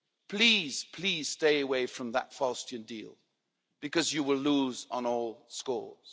Please, please, stay away from that Faustian deal, because you will lose on all scores.